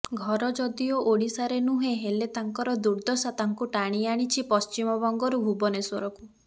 ଘର ଯଦିଓ ଓଡ଼ିଶାରେ ନୁହେଁ ହେଲେ ତାଙ୍କର ଦୁର୍ଦ୍ଦଶା ତାଙ୍କୁ ଟାଣି ଆଣିଛି ପଶ୍ଚିମବଙ୍ଗରୁ ଭୁବନେଶ୍ୱରକୁ